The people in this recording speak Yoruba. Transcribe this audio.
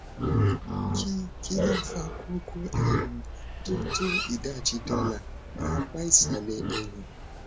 kí kí ló ń fa koko um tó tó ìdajì dọlà ní apá ìsàlẹ ẹyìn